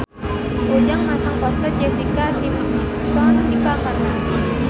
Ujang masang poster Jessica Simpson di kamarna